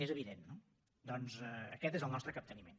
és evident no doncs aquest és el nostre capteniment